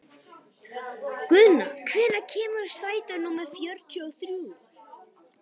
Guðna, hvenær kemur strætó númer fjörutíu og þrjú?